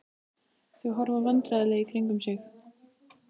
Þau horfa vandræðalega í kringum sig.